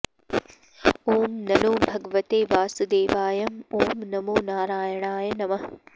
ॐ नंनों भगवतें वांसुंदेवायं ॐ नमो नारायणाय नमः